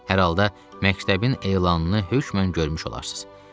Hər halda məktəbin elanını hökmən görmüş olarsınız.